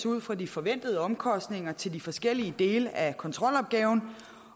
ud fra de forventede omkostninger til de forskellige dele af kontrolopgaven